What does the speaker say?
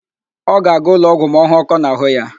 Ọ ga-aga ụlọọgwụ ma ọ hụ ọ́kọ́ n'àhụ́ ya